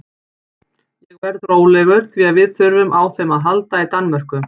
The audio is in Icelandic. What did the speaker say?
Ég verð rólegur því að við þurfum á þeim að halda í Danmörku.